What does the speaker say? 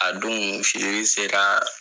A don feere sera